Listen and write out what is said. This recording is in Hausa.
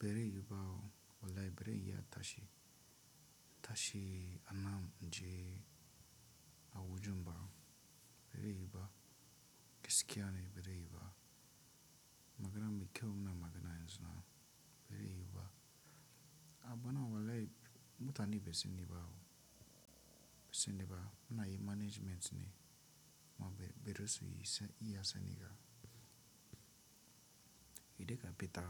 Bire yibawo wallahi bire iya tashi. Tashi anam je awujumba bire yiba. Gaskiya ne bazi yiba. Maganan mikkel mana maganan suna bire yiba. Aba na wallahi mutani be sennebawo be senneba mana yi management ne ma be be rosuyi iya sani ga. Idde ga beta